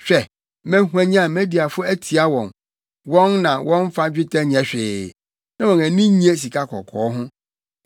Hwɛ mɛhwanyan Mediafo atia wɔn, wɔn na wɔmfa dwetɛ nyɛ hwee na wɔn ani nnye sikakɔkɔɔ ho.